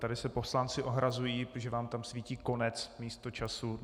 Tady se poslanci ohrazují, protože vám tam svítí konec místo času.